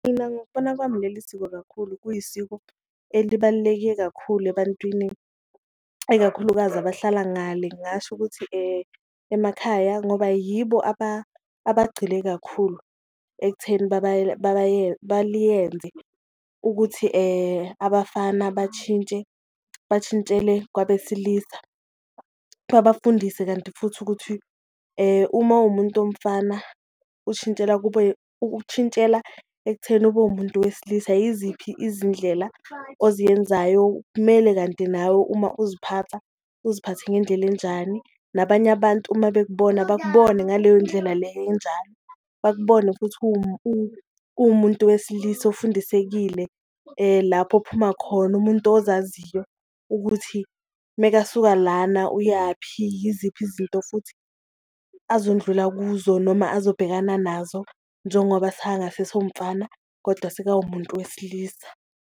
Mina ngokubona kwami leli siko kakhulu kuyisiko elibalulekile kakhulu ebantwini ikakhulukazi abahlala ngale, ngingasho ukuthi emakhaya ngoba yibo abagcile kakhulu ekutheni baliyenze ukuthi abafana bashintshe, bashintshele kwabesilisa. Babafundise kanti futhi ukuthi uma uwumuntu womfana ushintshela, ukushintshela ekutheni ube umuntu wesilisa, yiziphi izindlela oziyenzayo kumele kanti nawe uma uziphatha uziphathe ngendlela enjani. Nabanye abantu uma bekubona bakubone ngaleyo ndlela leyo enjalo, bakubone futhi uwumuntu wesilisa ofundisekile lapho ophuma khona umuntu ozaziyo ukuthi mekasuka lana uyaphi. Yiziphi izinto futhi azondlula kuzo noma azobhekana nazo njengoba sekangasese wumfana kodwa seka wumuntu wesilisa.